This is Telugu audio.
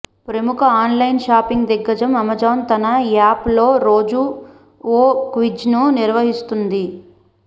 ప్రముఖ ఆన్ లైన్ షాపింగ్ దిగ్గజం అమెజాన్ తన యాప్ లో రోజూ ఓ క్విజ్ ను నిర్వహిస్తుంది